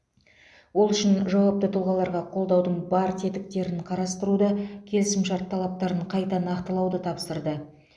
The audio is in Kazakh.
ол үшін жауапты тұлғаларға қолдаудың бар тетіктерін қарастыруды келісімшарт талаптарын қайта нақтылауды тапсырды